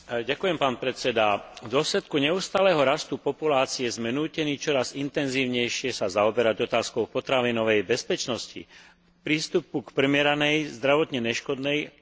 V dôsledku neustáleho rastu populácie sme nútení čoraz intenzívnejšie sa zaoberať otázkou potravinovej bezpečnosti, prístupu k primeranej, zdravotne neškodnej a výživnej strave.